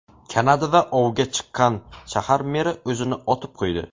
Kanadada ovgan chiqqan shahar meri o‘zini otib qo‘ydi.